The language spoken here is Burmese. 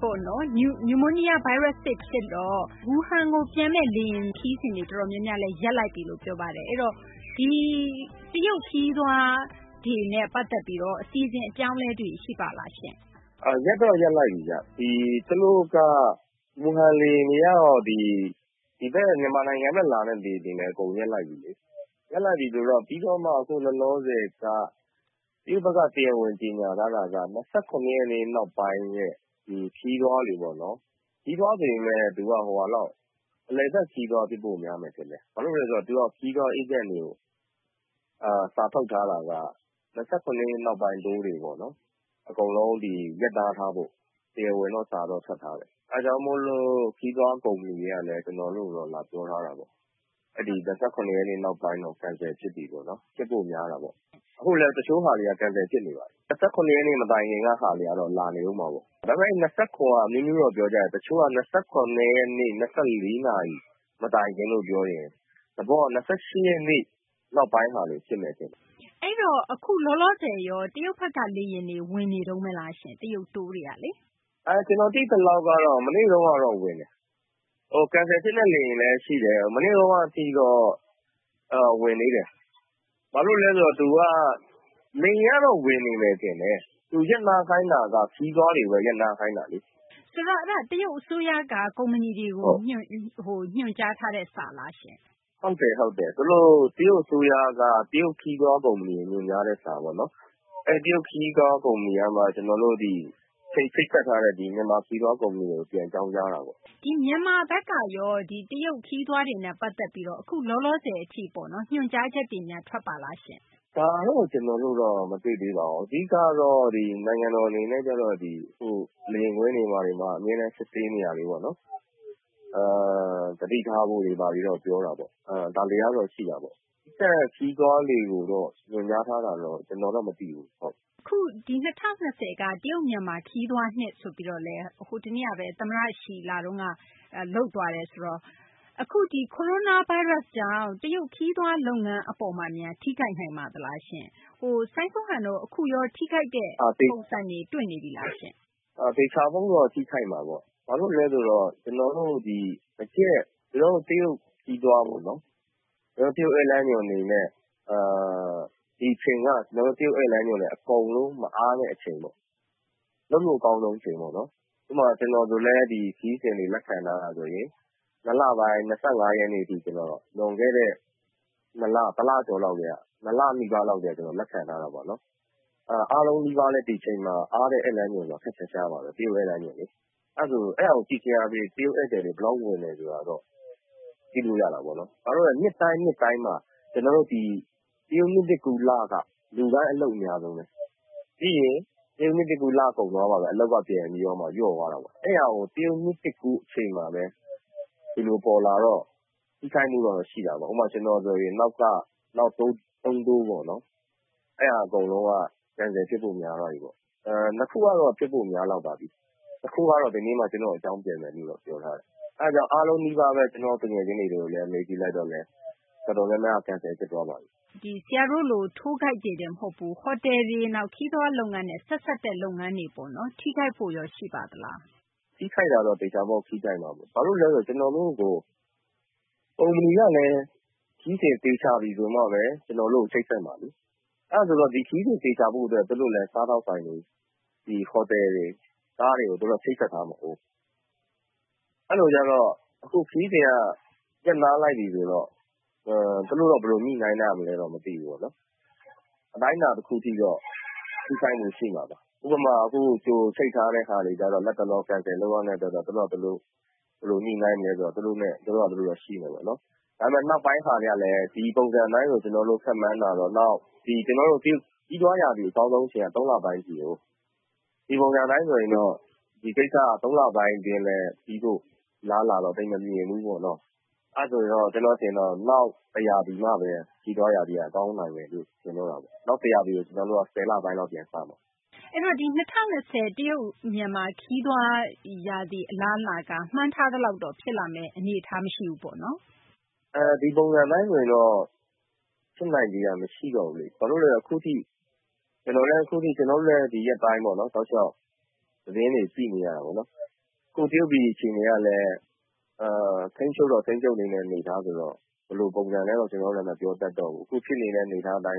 ပေါ့နော် နျူမိုးနီးယား ဗိုင်းရပ်စ်သစ် ဖြစ်တော့ Wuhan ကို ပျံမယ့် လေယာဉ် ခရီးစဉ် အတော်များများလည်း ရပ်လိုက်ပြီလို့ ပြောပါတယ်။ ဆိုတော့ တရုတ် ခရီးသွားတွေနဲ့ ပတ်သက်ပြီး အစီအစဉ် အပြောင်းအလဲတွေ ရှိပါလားရှင့်။ ရပ်တော့ ရပ်လိုက်ပြီဗျ။ သူတို့က Wuhan လေယာဉ်တွေကတော့ ဒီဘက် မြန်မာနိုင်ငံဘက် လာတဲ့ လေယာဉ်တွေကတော့ အကုန်ရပ်လိုက်ပြီလေ။ ပြီးတော့မှ အခုလောလောဆယ်က တရုတ်ဘက်က တရားဝင် ကြေညာထားတာက ၂၇ ရက်နေ့ နောက်ပိုင်း ခရီးသွားတွေပေါ့နော်၊ ခရီးသွား ဆိုပေမယ့် သူက အလည်အပတ် ခရီးသွား ဖြစ်ဖို့ များမယ်ထင်တယ်။ ဘာဖြစ်လို့လဲ ဆိုတော့ သူက ခရီးသွား အေးဂျင့်တွေကို စာထုတ်ထားတာက ၂၇ ရက်နေ့ နောက်ပိုင်း Tour တွေပေါ့နော် ရပ်နားထားဖို့ တရားဝင်တော့ စာထွက်ထားတယ်။ အဲဒါကြောင့် ခရီးသွား ကုမ္ပဏီတွေက ကျနော်တို့ကိုတော့ လာပြောထားတာပေါ့။ အဲဒီ ၂၇ ရက်နေ့ နောက်ပိုင်းတော့ Cancel ဖြစ်ပြီပေါ့။ ဖြစ်ဖို့ များတာပေါ့။ အခုလည်း တချို့ဟာတွေက Cancel ဖြစ်နေပါပြီ။ ၂၇ ရက်နေ့ မတိုင်ခင်က ဟာတွေကတော့ လာနေဦးမှာပေါ့။ ဒါပေမယ့် အဲဒီ ၂၇ က အမျိုးမျိုးတော့ ပြောကြတယ်၊ တချို့က ၂၇ ရက်နေ့ ၂၄ နာရီ မတိုင်ခင်လို့ ပြောတော့ သဘောက ၂၈ ရက်နေ့ နောက်ပိုင်းဟာတွေ ဖြစ်မယ်ထင်တယ်။ အခုရော လောလောဆယ် တရုတ်ဘက်က လေယာဉ်တွေ ဝင်နေတုန်းဘဲလား။ တရုတ် Tour တွေက။ ကျနော် သိသလောက်ကတော့ မနေ့ကတော့ ဝင်တယ်။ Cancel ဖြစ်တဲ့ လေယာဉ်လည်း ရှိတယ်။ မနေ့တုန်းကထိတော့ ဝင်သေးတယ်။ လေယာဉ်ကတော့ ဝင်နေမယ် ထင်တယ်။ သူ ရပ်နားခိုင်းတာက ခရီးသွားတွေကိုဘဲ ရပ်နားခိုင်းတာလေ။ ဆိုတော့ အဲဒါက တရုတ် အစိုးရက ကုမ္ပဏီတွေကို ညွှန်ကြားထားတဲ့ စာလားရှင့်။ ဟုတ်တယ်၊ ဟုတ်တယ်။ တရုတ် အစိုးရက တရုတ် ခရီးသွား ကုမ္ပဏီတွေကို ညွှန်ကြားတဲ့ စာပေါ့နော်။ အဲဒီ တရုတ် ခရီးသွား ကုမ္ပဏီကမှ ကျနော်တို့ ဒီ ချိတ်ဆက်ထားတဲ့ မြန်မာ ခရီးသွား ကုမ္ပဏီတွေကို ပြန်အကြောင်းကြားတာပေါ့။ မြန်မာဘက်ကတော့ တရုတ် ခရီးသွားတွေနဲ့ ပတ်သက်ပြီး အခု လောလောဆယ်ပေါ့နော် ညွှန်ကြားချက်တွေ ထွက်ပါလားရှင့်။ ဒါတော့ ကျနော်တို့ မတွေ့သေးပါဘူး။ အဓိက ကတော့ နိုင်ငံတော် အနေနဲ့ အခု လေယာဉ်ကွင်းတွေ ဘာတွေမှာ အမြဲတမ်း စစ်ဆေးနေတာတွေပေါ့နော် သတိထားဖို့တွေ ဘာတွေတော့ ပြောတာပေါ့။ ဒါတွေကတော့ ရှိတာပေါ့။ ခရီးသွားတွေကိုတော့ ညွှန်ကြားထားတာတော့ ကျနော်တော့ မသိဘူး။ အခု ၂၀၂၀ ပြည့်နှစ်က တရုတ် - မြန်မာ ခရီးသွား နှစ်ဆိုပြီး တနေ့ကဘဲ သမ္မတ Xi လာတုန်းကလည်း လုပ်သွားတယ်ဆိုတော့ အခု Coronavirus ကြောင့် တရုတ် ခရီးသွား လုပ်ငန်း အပေါ်မှာများ ထိခိုက်နိုင်ပါသလား။ အခုရော စိုင်းစိုးဟန်တို့ ထိခိုက်တဲ့ ပုံစံတွေ တွေ့နေပြီလား။ သေချာပေါက်တော့ ထိခိုက်မှာပေါ့။ ဘာလို့လဲ ဆိုတော့ ကျနော်တို့ ဒီ တရုတ် ခရီးသွားပေါ့နော် ခရီးသွား လမ်းညွှန်တွေ အတွက် ဒီအချိန်က တရုတ် ဧည့်လမ်းညွှန်တွေ အကုန်လုံး မအားတဲ့ အချိန်ပေါ့။ လုပ်လို့ အကောင်းဆုံး အချိန်ပေါ့။ ဥပမာ ကျနော်ဆိုလည်း ဒီ ခရီးစဉ်တွေ လက်ခံထားတာ ဆိုရင် ၂ လပိုင်း ၂၅ ရက်နေ့ထိ လွန်ခဲ့တဲ့ ၂ လနီးပါးလောက် ကတည်းက လက်ခံထားတာပေါ့နော်။ အားလုံးနီးပါးလည်း ဒီအချိန်မှာ အားတဲ့ ဧည့်လမ်းညွှန်ဆိုတာ ခပ်ရှားရှားပါဘဲ။ အဲဒါကို ကြည့်ခြင်းအားဖြင့် တရုတ် ဧည့်သည်တွေ ဘယ်လောက် ဝင်တယ်ဆိုတာတော့ ကြည့်လို့ ရတာပေါ့နော်။ နှစ်တိုင်း နှစ်တိုင်းမှာ တရုတ် နှစ်သစ်ကူး လ က လူတိုင်း အလုပ်အများဆုံးဘဲ။ တရုတ် နှစ်သစ်ကူး ပြီးမှဘဲ အလုပ်က ပြန်ပြီး လျော့သွားတာပေါ့။ တရုတ် နှစ်သစ်ကူး အချိန်မှာဘဲ ဒီလို ပေါ်လာတော့ ထိခိုက်မှုကတော့ ရှိတာပေါ့။ ဥပမာ ကျနော်ဆိုရင် နောက် Tour သုံးခုပေါ့နော် အဲဒါ အကုန်လုံးက ပျက်ဖို့ များသွားပြီ။ ၂ ခုကတော့ ဖြစ်ဖို့ များလောက်ပါပြီ။ တခုကတော့ ဒီနေ့မှ ကျနော့်ကို အကြောင်းပြန်မယ်လို့ ပြောထားတယ်။ အဲဒါကြောင့် အားလုံး နီးပါးဘဲ ကျနော့် သူငယ်ချင်းတွေကို မေးကြည့်လိုက်တော့ တော်တော်များများက ပျက်သွားပါပြီ။ ဆရာတို့လို Tour Guide တွေတင် မဟုတ်ဘူး ဟိုတယ်တွေ၊ ခရီးသွား လုပ်ငန်းနဲ့ ဆက်စပ်တဲ့ လုပ်ငန်းတွေရော ထိခိုက်ဖို့များ ရှိပါသလား။ ထိခိုက်မှာတော့ သေချာပေါက် ထိခိုက်မှာဘဲ။ ဘာဖြစ်လို့လဲ ဆိုတော့ ကျနော်တို့ကို ကုမ္ပဏီကလည်း ခရီးစဉ် သေချာပြီ ဆိုမှ ကျနော်တို့ကို ချိတ်ဆက်မှာလေ။ ဒီခရီးစဉ် သေချာဖို့ အတွက် သူတို့လည်း စားသောက်ဆိုင်တွေ ဟိုတယ်တွေ ကားတွေကို ချိတ်ဆက်ထားမှာကိုး။ အဲလို ဆိုတော့ အခု ခရီးစဉ်က ရပ်နားလိုက်ပြီ ဆိုတော့ သူတို့တော့ ဘယ်လို ညှိနှိုင်းကြမလဲတော့ မသိဘူးပေါ့နော် အတိုင်းအတာ တခု အထိတော့ ထိခိုက်မှု ရှိမှာပါ။ ဥပမာ အခု ကြိုချိတ်ထားတဲ့ ဟာတွေကျတော့ လတ်တလော ဖျက်ရမယ်ဆိုတော့ သူတို့ ဘယ်လို ညှိနှိုင်းမလဲ ဆိုတာ သူတို့ဟာ သူတို့တော့ ရှိမှာပေါ့။ နောက်ပိုင်းဟာတွေကလည်း ဒီပုံစံ အတိုင်းဆို ကျနော်တို့ ခန့်မှန်းတာတော့ ခရီးသွားရာသီ အကောင်းဆုံး ရာသီက ၃ လပိုင်း အထိကိုး။ ဒီပုံစံ အတိုင်းဆိုရင် ဒီကိစ္စက ၃ လပိုင်း အတွင်းမှာ ပြီးဖို့ အလားအလာက သိပ်မမြင်ဘူး ပေါ့နော်။ အဲဒါဆိုရင်တော့ ကျနော် အမြင်တော့ နောက်တရာသီမှဘဲ ခရီးသွား ရာသီရောက်မှဘဲ ကောင်းနိုင်တော့မယ်လို့ ထင်တာဘဲ။ နောက်တရာသီက ကျနော်တို့ ၁၀ လပိုင်းလောက် ပြန်စမှာ။ အဲဒီတော့ တရုတ် မြန်မာ ခရီးသွား ရာသီက မှန်းထားသလောက်တော့ ဖြစ်မယ့် သဘော မရှိဘူးပေါ့နော်။ ဒီပုံစံ အတိုင်းဆိုရင်တော့ ဖြစ်နိုင်ခြေက မရှိတော့ဘူးလေ။ ဘာဖြစ်လို့လဲ ဆိုတော့ ကျနော်တို့လည်း ဒီရက်ပိုင်း တောက်လျှောက် သတင်းတွေ ကြည့်နေရတာပေါ့နော်။ အခု တရုတ် ပြည် အခြေအနေက ထိန်းချုပ်တော့ ထိန်းချုပ်နေတဲ့ အနေအထားဆိုတော့ ဘယ်လို ပုံစံလဲတော့ ကျနော်တို့လည်း မပြောတတ်တော့ဘူး။ အခု ဖြစ်နေတဲ့ အနေအထားကတော့